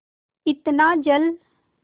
इतना जल